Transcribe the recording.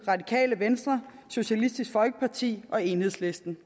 radikale venstre socialistisk folkeparti og enhedslisten